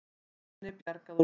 Manni bjargað úr jökulá